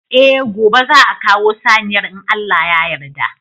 Eh gobe za'a kawo saniyar in Allah ya yarda.